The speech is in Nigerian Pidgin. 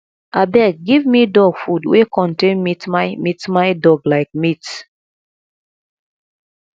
abeg give me dog food wey contain meatmy meatmy dog like meat